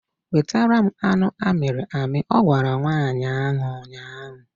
Wetara m anụ amịrị amị! Ọ gwara nwaanyị ahụ ụnyaahụ